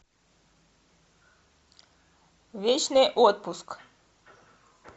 вечный отпуск